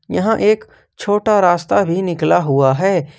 यहां एक छोटा रास्ता भी निकला हुआ है।